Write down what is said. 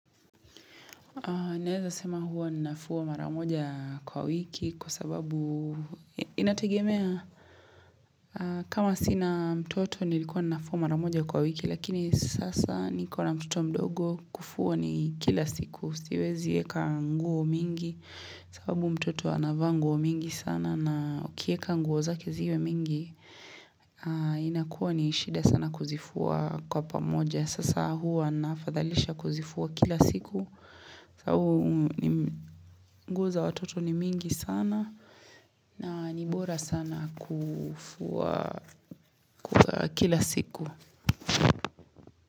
Naeza sema huwa ninafua maramoja kwa wiki kwa sababu inategemea kama sina mtoto nilikuwa ninafua maramoja kwa wiki lakini sasa nikona mtoto mdogo kufua ni kila siku siwezi eka nguo mingi sababu mtoto anavaa nguo mingi sana na ukieka nguo zake ziwe mingi inakuwa ni shida sana kuzifua kwa pamoja. Sasa hua nafadhalisha kuzifua kila siku sababu nguo za watoto ni mingi sana na ni bora sana kufua kila siku.